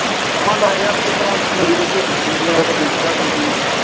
ਦਾ ਇਹ ਵੀ ਆ ਜਿਸ ਤਰਾਂ ਕਦੀ ਤੇ ਝੋਟੀਆਂ ਸ਼ੂ ਪਈਆਂ ਤੇ ਕਦੀ ਮੱਝਾਂ ਸੂ ਪਈਆਂ।